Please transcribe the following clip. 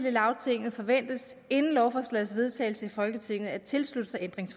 i lagtinget forventes inden lovforslagets vedtagelse i folketinget at tilslutte sig